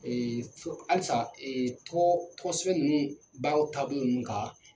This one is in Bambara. fo halisa ko kosɛbɛ ninnu baaraw taabolo ninnu kan.